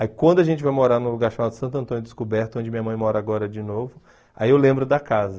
Aí quando a gente vai morar num lugar chamado Santo Antônio Descoberto, onde minha mãe mora agora de novo, aí eu lembro da casa.